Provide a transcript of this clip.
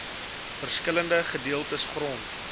verskillende gedeeltes grond